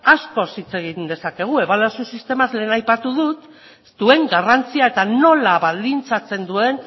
askoz hitz egin dezakegu ebaluazio sistemaz lehen aipatu dut duen garrantzia eta nola baldintzatzen duen